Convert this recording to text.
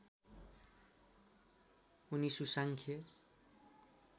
उनी सुसाङ्ख्य